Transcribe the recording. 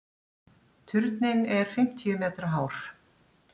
Turninn er fimmtíu metra hár.